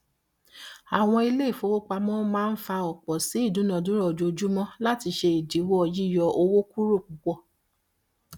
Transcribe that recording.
àwọn iléifowópamọ́ máa ń fà òpó sí ìdúnàdàrà ojoojúmọ́ láti ṣe ìdíwọ yíyọ owó kúrò púpọ